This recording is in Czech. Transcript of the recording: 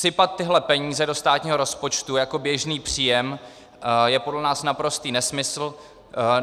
Sypat tyhle peníze do státního rozpočtu jako běžný příjem je podle nás naprostý nesmysl.